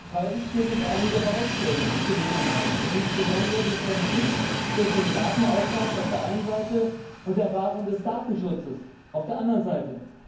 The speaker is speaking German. Freilich gilt es einige Baustellen zu beheben, insbesondere den Konflikt zwischen dem Datenaustausch auf der einen Seite und der Wahrung des Datenschutzes auf der anderen Seite.